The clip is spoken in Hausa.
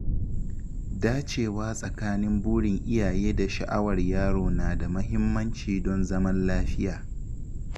Dacewa tsakanin burin iyaye da sha’awar yaro na da mahimmanci don zaman lafiya.